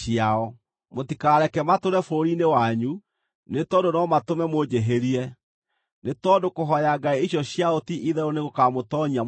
Mũtikareke matũũre bũrũri-inĩ wanyu; nĩ tondũ no matũme mũnjĩhĩrie, nĩ tondũ kũhooya ngai icio ciao ti-itherũ nĩgũkamũtoonyia mũtego-inĩ.”